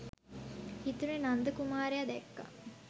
හිතුනේ නන්ද කුමාරයා දැක්ක